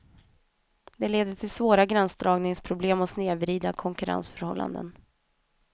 Det leder till svåra gränsdragningsproblem och snedvridna konkurrensförhållanden.